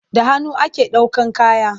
Da hannu ake ɗaukan kaya.